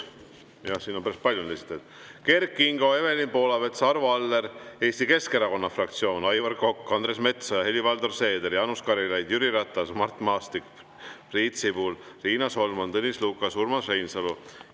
Jah, siin on päris palju esitajaid: Kert Kingo, Evelin Poolamets, Arvo Aller, Eesti Keskerakonna fraktsioon, Aivar Kokk, Andres Metsoja, Helir-Valdor Seeder, Jaanus Karilaid, Jüri Ratas, Mart Maastik, Priit Sibul, Riina Solman, Tõnis Lukas ja Urmas Reinsalu.